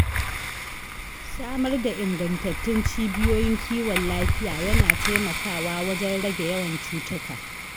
Samar da ingantattun cibiyoyin kiwon lafiya yana taimakawa wajen rage yawan cutuka.